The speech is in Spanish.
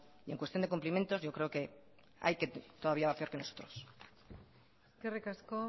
en cuestión de cumplimientos yo creo que hay todavía quien va peor que nosotros eskerrik asko